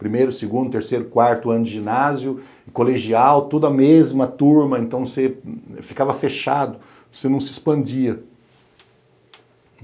primeiro, segundo, terceiro, quarto ano de ginásio, colegial, tudo a mesma turma, então você ficava fechado, você não se expandia.